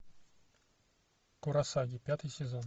куросаги пятый сезон